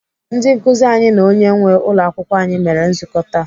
Ndị nkụzi anyị na onye nwee ụlọakwụkwọ anyị mere nzukọ taa.